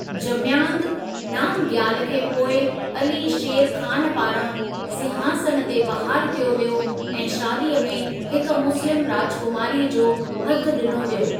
जम्यांग नामग्याल खे पोइ अली शेर खान पारां सिंहासन ते बहाल कयो वियो ऐं शादीअ में हिक मुस्लिम राजकुमारीअ जो हथ ॾिनो वियो।